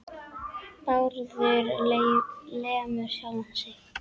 Bárður lemur sjálfan sig.